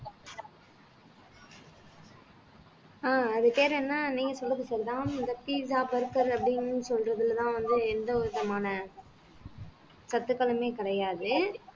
அஹ் அது பேர் என்ன நீங்க சொல்றது சரிதான் இந்த pizza burger அப்படின்னு சொல்றதுலதான் வந்து எந்த விதமான கட்டுக்களுமே கிடையாது